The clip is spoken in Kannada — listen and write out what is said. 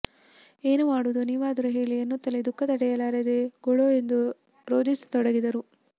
ಏನು ಮಾಡುವುದು ನೀವಾದರೂ ಹೇಳಿ ಎನ್ನುತ್ತಲೇ ದುಃಖ ತಡೆಯಲಾರದೆ ಗೊಳೋ ಎಂದು ರೋಧಿಸತೊಡಗಿದರು